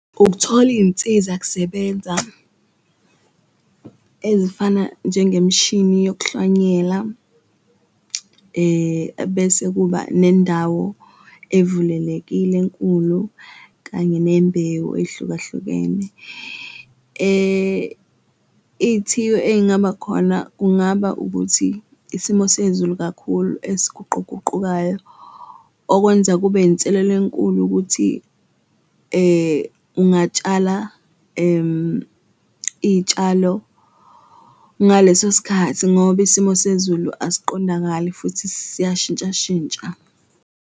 Ukuthola iy'nsiza kusebenza ezifana njengemshini yokuhlwanyela ebese kuba nendawo evulelekile enkulu, kanye nembewu ey'hlukahlukene iyithiyo ey'ngaba khona kungaba ukuthi isimo sezulu kakhulu esiguquguqukayo. Okwenza kube inselelo enkulu ukuthi ungatshala iy'tshalo ngaleso sikhathi ngoba isimo sezulu asiqondakali futhi siyashintshashintsha.